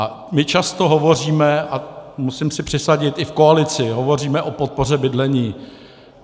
A my často hovoříme - a musím si přisadit, i v koalici - hovoříme o podpoře bydlení.